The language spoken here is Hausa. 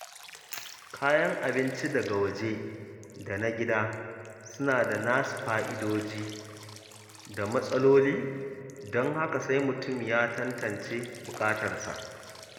Kayan abinci daga waje da na gida suna da nasu fa’idodi da matsaloli, don haka sai mutum ya tantance buƙatarsa.